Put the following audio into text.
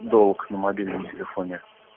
долг на мобильном телефоне